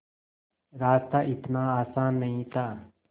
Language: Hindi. रास्ता इतना आसान नहीं था